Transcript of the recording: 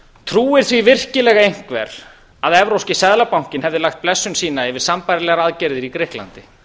trúir því virkilega einhver að evrópski seðlabankinn hefði lagt blessun sína yfir sambærilegar aðgerðir í grikklandi